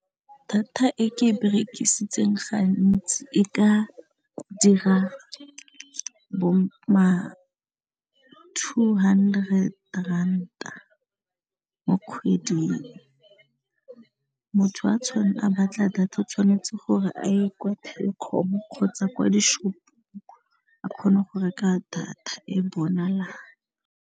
Data e ke e berekisitseng gantsi e ka dira bo ma two hundred ranta mo kgweding, motho a batla data o tshwanetse gore a ye kwa Telkom kgotsa kwa di-shop-ong a kgone go reka data e bonalang.